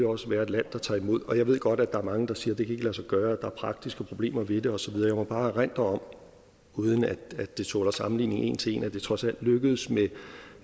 også være et land der tager imod og jeg ved godt at der er mange der siger det kan lade sig gøre at der er praktiske problemer ved det og så videre jeg må bare erindre om uden at det tåler sammenligning en til en at det trods alt lykkedes